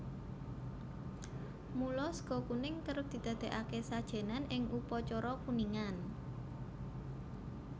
Mula sega kuning kerep didadékake sajènan in upacara kuningan